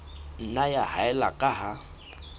nna ya haella ka ha